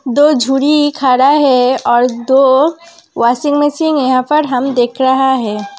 दो खड़ा है और दो वाशिंग मशीन यहाँ पर हम देख रहा है।